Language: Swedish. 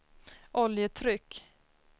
oljetryck